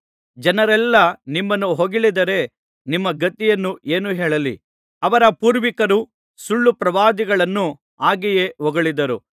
ಜನರೆಲ್ಲಾ ನಿಮ್ಮನ್ನು ಹೊಗಳಿದರೆ ನಿಮ್ಮ ಗತಿಯನ್ನು ಏನು ಹೇಳಲಿ ಅವರ ಪೂರ್ವಿಕರು ಸುಳ್ಳುಪ್ರವಾದಿಗಳನ್ನು ಹಾಗೆಯೇ ಹೊಗಳಿದ್ದರು